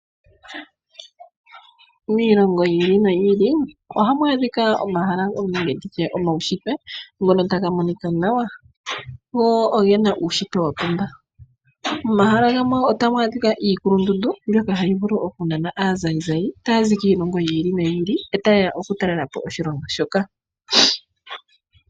Miilongo yili noyili ohamu adhika omahala ogendji omaushitwe ngono taga monika nawa . Go ogena uunshitwe wapumba . Momahala gamwe otamu adhika iikulundundu mbyoka tayi nana aatalelipo oku za kiilongo yiili noyili, etayeya okutalelapo oshilongo shoka.